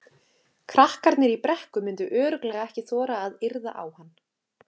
Krakkarnir í Brekku myndu örugglega ekki þora að yrða á hann.